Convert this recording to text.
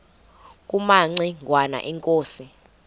kumaci ngwana inkosi